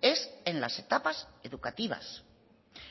es en las etapas educativas